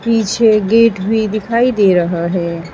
पीछे गेट भी दिखाई दे रहा है।